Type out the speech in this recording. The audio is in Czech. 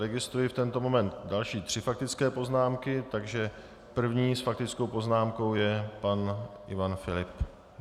Registruji v tento moment další tři faktické poznámky, takže první s faktickou poznámkou je pan Ivan Filip.